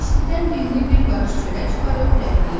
İstidən dilini bir qarış çölə çıxarıb ləhləyirdi.